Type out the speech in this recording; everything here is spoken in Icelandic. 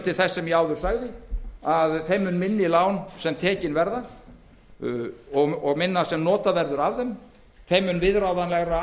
til þess sem ég áður sagði að þeim mun minni lán sem tekin verða og þeim mun minna sem notað verður af þeim þeim mun viðráðanlegra